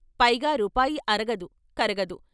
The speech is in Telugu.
పైగా రూపాయి అరగదు, కరగదు.